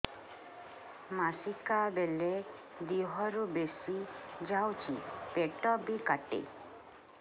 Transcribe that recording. ମାସିକା ବେଳେ ଦିହରୁ ବେଶି ଯାଉଛି ପେଟ ବି କାଟେ